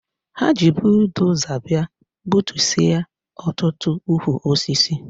Ha ji budoza bịa gbutusịa ọtụtụ ukwu osisi.